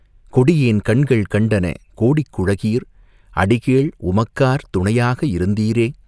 கொடியேன் கண்கள் கண்டன கோடிக் குழகீர் அடிகேள் உமக்கார் துணையாக இருந்தீரே?".